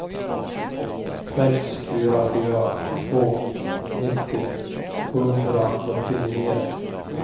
sex fyra fyra två nittio sjuhundraåttionio